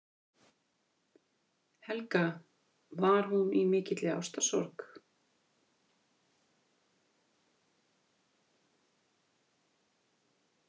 Helga: Var hún í mikilli ástarsorg?